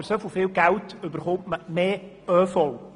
Für so viel Geld erhält man mehr ÖV.